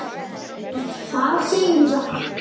Það segirðu satt.